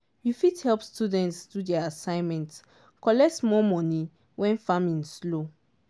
you fit help students do their assignment collect small money when farming slow.